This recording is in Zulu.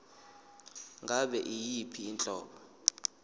ngabe yiyiphi inhlobo